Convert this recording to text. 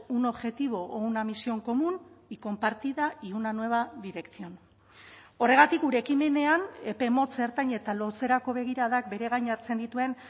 un objetivo o una misión común y compartida y una nueva dirección horregatik gure ekimenean epe motz ertain eta luzerako begiradak bere gain hartzen dituen